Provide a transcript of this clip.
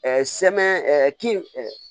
sɛmɛn ɛ kin